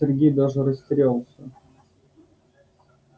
сергей даже растерялся